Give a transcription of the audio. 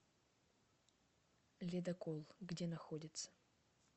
ледокол где находится